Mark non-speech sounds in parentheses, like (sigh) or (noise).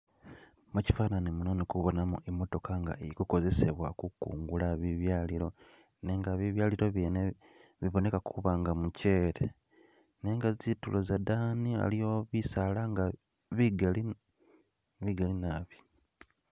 (skip) mukyifanani muno indi kubonamo imotaka nga ilikukozesewa kukungula bibyalilo nenga bibyalilo byene biboneka kuba nga mukyele nenga tsitulo zadani alowo bisaala bigali, bigali naabi (skip)